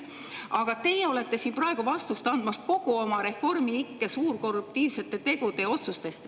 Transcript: Aga teie olete siin praegu vastust andmas kogu Reformi ikke suurkorruptiivsete tegude ja otsuste eest.